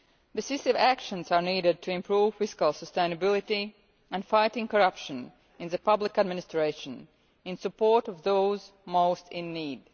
Decisive actions are needed to improve fiscal sustainability and fight corruption in the public administration, in support of those most in need.